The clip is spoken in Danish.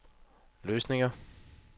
løsninger